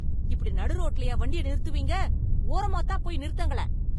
இப்டி நடு ரோட்லயா வண்டிய நிறுத்துவீங்க? ஓரமாத் தான் போயி நிறுத்துங்களேன்!